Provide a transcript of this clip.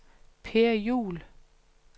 Per Juhl